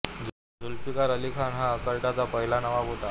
झुल्फिकार अली खान हा अर्काटचा पहिला नवाब होता